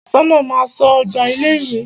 Aṣọ́nà máa ń ṣọ́ ọgbà ilé ìwé.